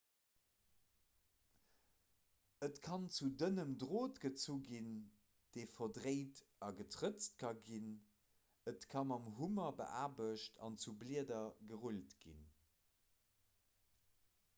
et kann zu dënnem drot gezu ginn dee verdréint a getrëtzt ka ginn et ka mam hummer beaarbecht an zu blieder gerullt ginn